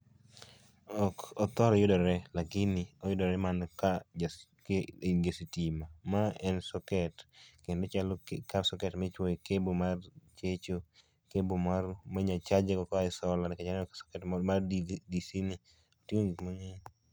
Ok othor yudore lakini oyudore mana ka ja stima, ka in gi sitima. Ma en socket kendo ochalo, ka socket michuoye cable mar checho, cable minyal chaje go koae solar nikech aneno mar DC ni, otingo gik mangeny